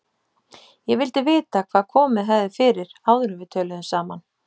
Ég vildi vita, hvað komið hefði fyrir, áður en við töluðum saman.